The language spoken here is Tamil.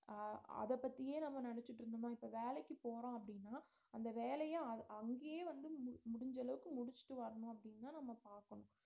அஹ் அதப் பத்தியே நம்ம நினைச்சிட்டு இருந்தோம்ன்னா இப்ப வேலைக்குப் போறோம் அப்படின்னா அந்த வேலையை அங்~ அங்கேயே வந்து மு~ முடிஞ்ச அளவுக்கு முடிச்சிட்டு வரணும் அப்படின்னுதான் நம்ம பாக்கணும்